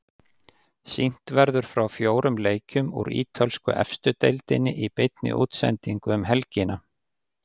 Sýnt verður frá fjórum leikjum úr ítölsku efstu deildinni í beinni útsendingu um helgina.